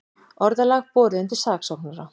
Orðalag borið undir saksóknara